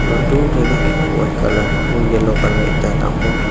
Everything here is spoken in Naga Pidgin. aru dur tae bi white colour aro yellow colour ekta dangor--